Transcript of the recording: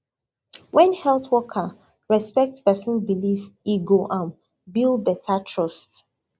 when health worker respect person belief e go um build better trust